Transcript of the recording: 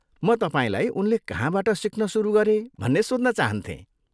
म तपाईँलाई उनले कहाँबाट सिक्न सुरु गरे भन्ने सोध्न चाहन्थेँ।